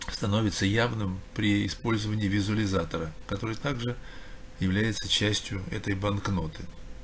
становится явным при использовании визуализатора который также является частью этой банкноты